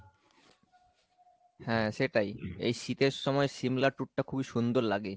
হ্যাঁ সেটাই এই শীতের সময় সিমলা tour টা খুবই সুন্দর লাগে।